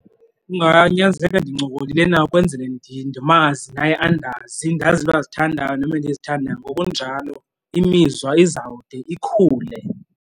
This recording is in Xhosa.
Kunganyanzeleka ndincokolile naye ukwenzele ndimazi naye andazi, ndazi iinto azithandayo nam endizithandayo. Ngokunjalo imizwa izawude ikhule.